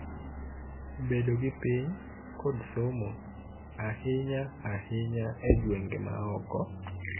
Bedo gi piny, kod somo, ahinya ahinya e gwenge ma oko.